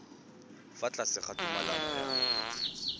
fa tlase ga tumalano ya